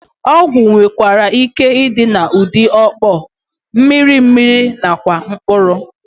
Ọgwụ nwereike ịdị n'ụdị ọkpọ, mmiri mmiri nakwa mkpụrụ